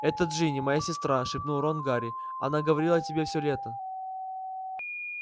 это джинни моя сестра шепнул рон гарри она говорила о тебе всё лето